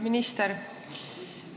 Minister!